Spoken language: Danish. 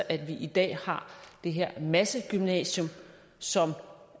at vi i dag har det her massegymnasium som